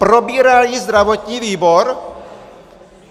Probíral ji zdravotní výbor?